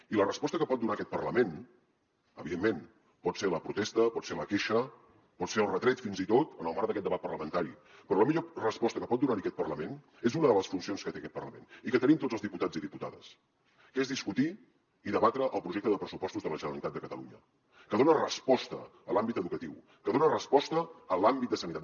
i la resposta que pot donar aquest parlament evidentment pot ser la protesta pot ser la queixa pot ser el retret fins i tot en el marc d’aquest debat parlamentari però la millor resposta que pot donarhi aquest parlament és una de les funcions que té aquest parlament i que tenim tots els diputats i diputades que és discutir i debatre el projecte de pressupostos de la generalitat de catalunya que dona resposta a l’àmbit educatiu que dona resposta a l’àmbit de sanitat